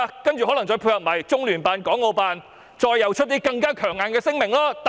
然後，可能再配合中聯辦及港澳辦發出一些更強硬的聲明。